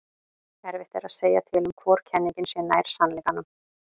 erfitt er að segja til um hvor kenningin sé nær sannleikanum